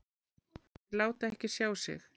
Þeir láta ekki sjá sig.